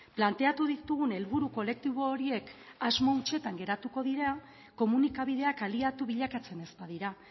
planteatu ditugun helburu kolektibo horiek asmo hutsetan geratuko dira komunikabideak aliatu bilakatzen ez badira